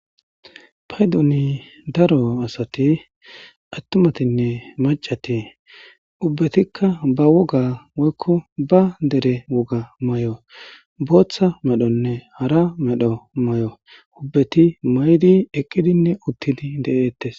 paydoni daro asati attumatinne macati ubbetikka ba woga woykko ba dere woga mayo booththa medhonne hara medho mayo ubbeti maydi eqqidinne uttidi de'eettes